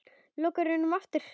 Lokar augunum aftur.